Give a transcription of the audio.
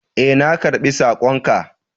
Ee, na karɓi sakon ka.